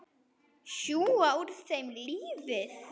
Sjúga úr þeim lífið.